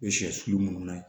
U bɛ sɛsu su munnu na